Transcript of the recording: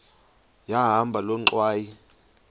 yahamba loo ngxwayi